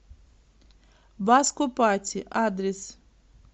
баско пати адрес